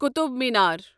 Qutub Minar